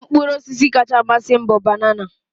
Mkpụrụ ọsisi kacha amasị m bụ banana.